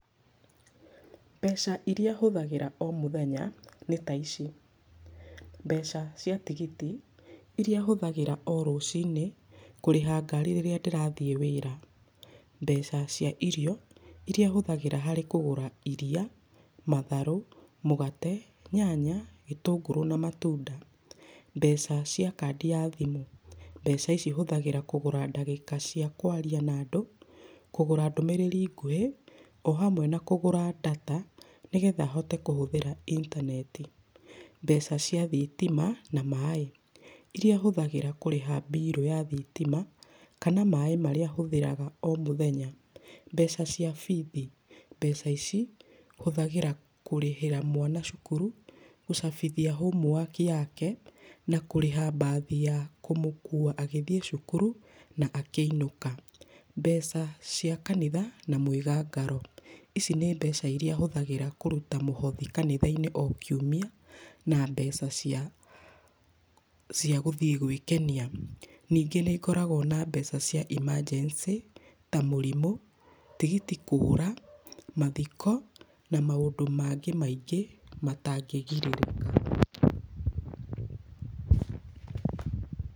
Mbeca iria hũthagĩra o mũthenya nĩ ta ici. Mbeca cia tigiti, iria hũthagĩra o rũcinĩ kũrĩha ngari rĩrĩa ndĩrathiĩ wĩra. Mbeca cia irio, iria hũthagĩra harĩ kũgũra iria, matharũ, mũgate, nyanya, gĩtũngũrũ na matunda. Mbeca cia kandi ya thimũ. Mbeca ici hũthagĩra kũgũra ndagĩka cia kwaria na andũ, kũgũra ndũmĩrĩri nguhĩ, o hamwe na kũgũra ndata nĩgetha hote kũhũthĩra intaneti. Mbeca cia thitima na maaĩ, iria hũthagĩra kũrĩha mbirũ ya thitima kana maaĩ marĩa hũthĩraga o mũthenya. Mbeca cia bithi. Mbeca ici hũthagĩra kũrĩhĩra mwana cukuru, gũcabithia homework yake, na kũrĩha mbathi ya kũmũkua agĩthiĩ cukuru na akĩinũka. Mbeca cia kanitha na mwĩgangaro. Ici nĩ mbeca iria hũthagĩra kũruta mũhothi kanitha-inĩ oro kiumia na mbeca cia, cia gũthiĩ gwĩkenia. Ningĩ nĩ ngoragwo na mbeca cia emergency ta mũrimũ, tigiti kũra, mathiko, na maũndũ mangĩ maingĩ matangĩgirĩrĩka. Pause